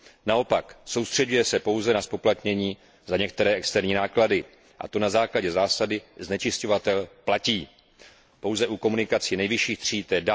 Naopak soustřeďuje se pouze na zpoplatnění za některé externí náklady, a to na základě zásady znečišťovatel platí, pouze u komunikací nejvyšších tříd, tj.